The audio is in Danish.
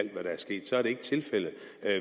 ikke til